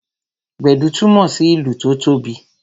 Gbedu túmọ sí ìlù tó tóbi